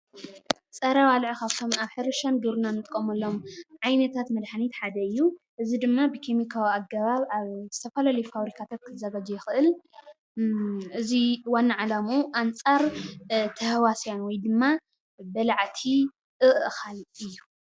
ፀረ ባልዕ ካብቶም አብ ሕርሻን ግብርናን እንጥቀመሎምዓይነታት መድሓኒት ሓደ እዩ ። እዚ ድማ ብኬማካዊ አገባብ አብ ብዝተፈላለዩ ፋብሪካታት ክዘጋጀይ ይኽእል። እዚ ዋና ዓላምኡ አንፃር ተሃዋስያን ውይ ድማ በላዕቲ እእኻል እዩ።